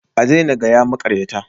A daina gaya maƙaryata